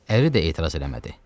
Əri də etiraz eləmədi.